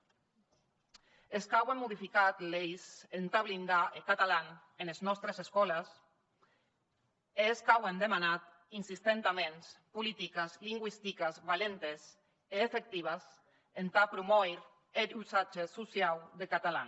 es qu’auem modificat leis entà blindar eth catalan enes nòstes escòles es qu’auem demanat insistentaments polítiques lingüistiques valentes e efectives entà promòir er usatge sociau deth catalan